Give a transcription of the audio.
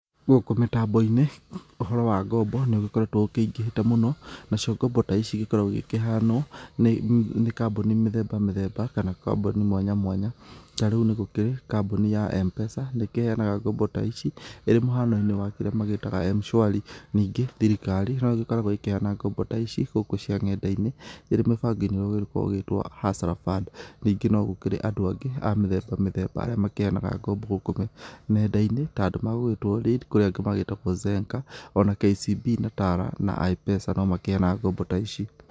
Gũkũ mĩtambo-inĩ ũhoro wa ngombo nĩ ũgĩkoretwo ukĩingĩhĩte mũno, na cio ngombo ta ici igĩkoragwo igĩkĩheanwa nĩ kambuni mĩthemba mĩthemba kana kambuni mwanya mwanya, ta rĩu nĩ gũkĩri kambuni ya M-PESA, nĩ ĩkĩheanaga ngombo ta ici, ĩrĩ mũhano-inĩ wa kĩrĩa magĩtaga m-shwari, ningĩ thirikari, no ĩgĩkoragwo ĩkĩheana ngombo ta ici gũkũ cia nenda-inĩ, ĩrĩ mĩbango-inĩ ũrĩa ũgĩkorwo ũgíĩtwo Hustler Fund. Ningĩ no gũkĩrĩ adũ agĩ a mĩthemba mĩthemba arĩa makĩheanaga ngombo gũkũ nenda-inĩ, ta adũ megũgíĩtwo Lead, kũrĩ angĩ megũĩtwo Zenka, ona KCB na Tala na I-PESA no makĩheanaga ngombo ta ici.